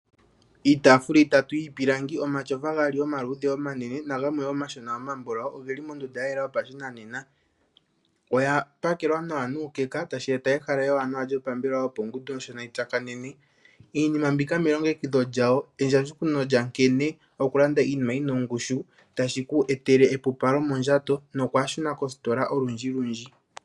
Iitaafula itatu yiipilangi, omatyofa omaluudhe omanene nagamwe omashona omambulawu ogeli mondunda ya yela yopashinanena, oya pakelwa nawa nuukeka tashi eta ehala ewanawa lyopambelewa, iinima mbika nkene okulanda iinima yina ongushu tashi ku etele epupalo mondjato nokwaashuna kositola olundjilundji.